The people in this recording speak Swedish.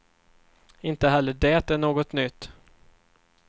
Inte heller det är något nytt.